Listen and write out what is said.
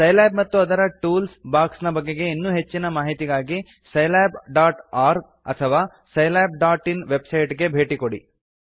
Scilab ಮತ್ತು ಅದರ tool ಬಾಕ್ಸ್ನ ಬಗೆಗೆ ಇನ್ನೂ ಹೆಚ್ಚಿನ ಮಾಹಿತಿಗಾಗಿ scilabಒರ್ಗ್ ಅಥವಾ scilabಇನ್ ವೆಬ್ಸೈಟ್ ಗೆ ಭೇಟಿ ಕೊಡಿ